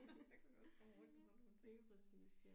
Der kan man også få det hårdt med sådan nogle ting